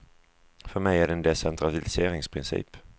För mig är det en decentraliseringsprincip.